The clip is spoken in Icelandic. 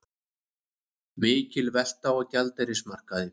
Mikil velta á gjaldeyrismarkaði